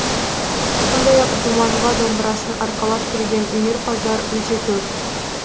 сондай ақ думанға домбырасын арқалап келген өнерпаздар өте көп